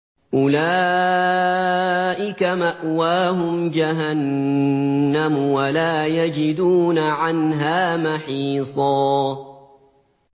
أُولَٰئِكَ مَأْوَاهُمْ جَهَنَّمُ وَلَا يَجِدُونَ عَنْهَا مَحِيصًا